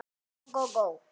Kúla þaut hjá með hvin.